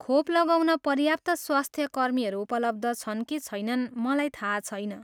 खोप लगाउन पर्याप्त स्वास्थ्यकर्मीहरू उपलब्ध छन् कि छैनन् मलाई थाहा छैन।